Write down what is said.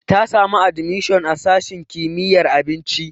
Ta samu admishon a sashin kimiyyar abinci.